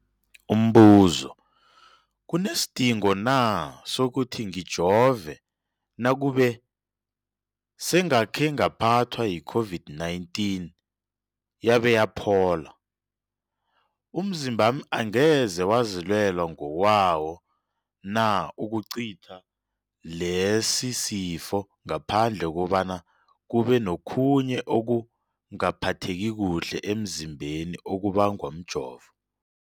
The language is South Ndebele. Umbuzo, kunesidingo na sokuthi ngijove nakube sengakhe ngaphathwa yi-COVID-19 yabe yaphola? Umzimbami angeze wazilwela ngokwawo na ukucitha lesisifo, ngaphandle kobana kube nokhunye ukungaphatheki kuhle emzimbeni okubangwa mjovo?